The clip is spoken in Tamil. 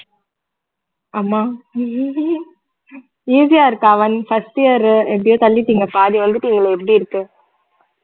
ஆமா easy ஆ இருக்கா first year எப்படியோ தள்ளிட்டீங்க பாதி வந்துட்டீங்களே எப்படி இருக்கு?